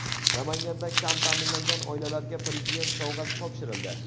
Namanganda kam ta’minlangan oilalarga Prezident sovg‘asi topshirildi .